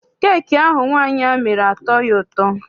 Keeki ahụ nwaanyị a mere atọghi ụtọ.